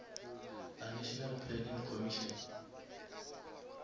la national planning commission